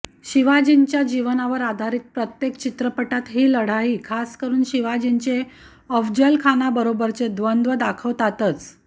शिवाजींच्या जीवनावर आधारित प्रत्येक चित्रपटात ही लढाई खासकरून शिवाजींचे अफजलखानाबरोबरचे द्वंद्व दाखवतातच